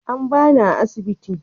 An ba ni a asibiti.